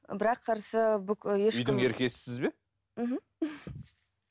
бірақ қарсы ешкім үйдің еркесісіз бе мхм